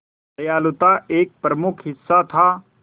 दयालुता एक प्रमुख हिस्सा था